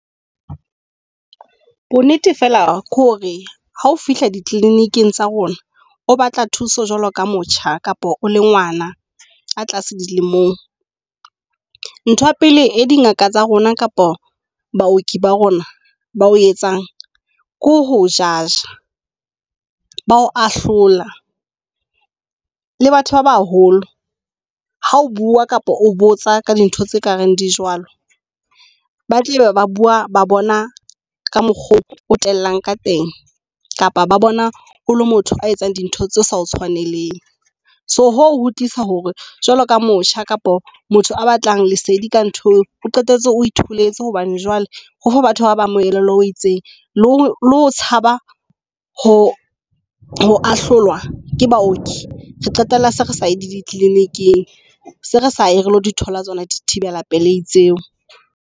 Bo nnete fela ke hore, ha o fihla di kliniking tsa rona, o batla thuso jwalo ka motjha kapa o le ngwana a tlase dilemong. Nthwa pele e dingaka tsa rona kapa baoki ba rona ba o etsang ke ho judge, ba ho ahlola le batho ba baholo. Ha o bua kapa o botsa ka dintho tse kareng di jwalo, ba tle ba bua ba bona ka mokgwa o tellang ka teng, kapa ba bona o le motho a etsang dintho tse sa o tshwaneleng. So hoo ho tlisa hore jwalo ka motjha kapa motho a batlang lesedi ka ntho, o qetetse o itholetse hobane jwale ho batho ba ba amohele o itseng. Le ho tshaba ho ho a hlolwa ke baoki. Re qetella se re sa ye dicliniking se re sa ye re lo di thola tsona dithibela pelei tseo.